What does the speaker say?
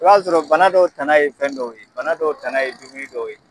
I b'a sɔrɔ bana dɔw tanan ye fɛn dɔw ye bana dɔw tanan ye dumuni dɔw ye.